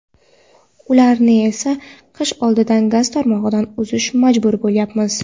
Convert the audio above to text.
Ularni esa qish oldidan gaz tarmog‘idan uzishga majbur bo‘layapmiz.